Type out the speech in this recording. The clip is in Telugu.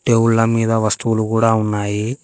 టేబుల్ల మీద వస్తువులు కూడ ఉన్నాయి.